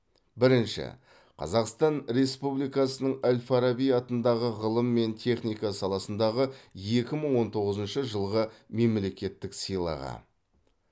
бірінші қазақстан республикасының әл фараби атындағы ғылым мен техника саласындағы екі мың он тоғызыншы жылғы мемлекеттік сыйлығы